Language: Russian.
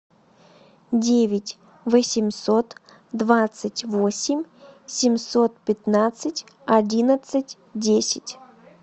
девять восемьсот двадцать восемь семьсот пятнадцать одиннадцать десять